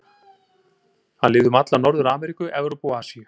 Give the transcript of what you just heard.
Hann lifði um alla Norður-Ameríku, Evrópu og Asíu.